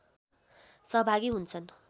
सहभागी हुन्छन्